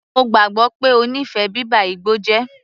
Mo gbàgbọ́ pé ó nífẹ̀ẹ́ bíba igbó jẹ́.